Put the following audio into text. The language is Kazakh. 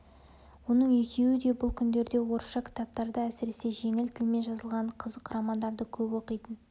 оның екеуі де бұл күндерде орысша кітаптарды әсіресе жеңіл тілмен жазылған қызық романдарды көп оқитын